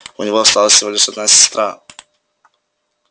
у него осталась всего лишь одна сестра